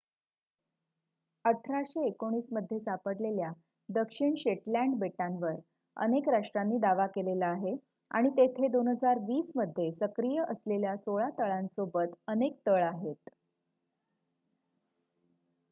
1819 मध्ये सापडलेल्या दक्षिण शेटलँड बेटांवर अनेक राष्ट्रांनी दावा केलेला आहे आणि तेथे 2020 मध्ये सक्रिय असलेल्या सोळा तळांसोबत अनेक तळ आहेत